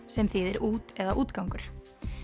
sem þýðir út eða útgangur